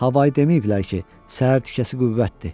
Havayı deməyiblər ki, səhər tikəsi qüvvətdir.